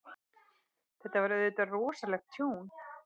Þetta var auðvitað rosalegt tjón.